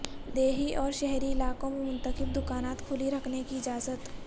دیہی اور شہری علاقوں میں منتخب دکانات کھلی رکھنے کی اجازت